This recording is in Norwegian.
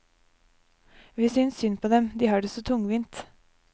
Vi synes synd på dem, de har det så tungvint.